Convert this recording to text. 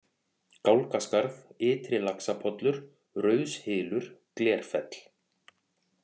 Gálgaskarð, Ytri-Laxapollur, Rauðshylur, Glerfell